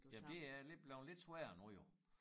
Ja det er lidt blevet lidt sværere nu jo